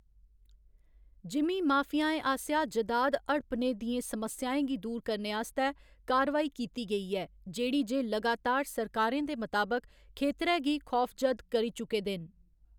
जिमीं माफियाएं आसेआ जदाद हड़पने दियें समस्याएं गी दूर करने आस्तै कार्रवाई कीती गेई ऐ, जेह्‌‌ड़ी जे लगातार सरकारें दे मताबक, खेतरै गी खौफजद करी चुके दे न।